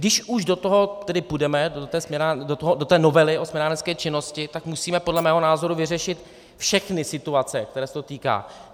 Když už do toho tedy půjdeme, do té novely o směnárenské činnosti, tak musíme podle mého názoru vyřešit všechny situace, kterých se to týká.